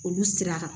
Olu sira kan